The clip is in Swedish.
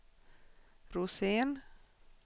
Rosén